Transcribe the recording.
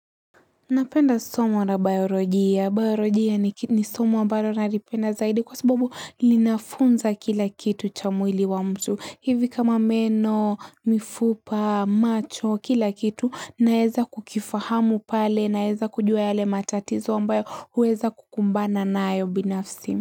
Napenda somo na bayolojia. Bayolojia ni somo ambalo nalipenda zaidi kwa sababu linafunza kila kitu cha mwili wa mtu. Hivi kama meno, mifupa, macho, kila kitu naeza kukifahamu pale naeza kujua yale matatizo ambayo huweza kukumbana nayo binafsi.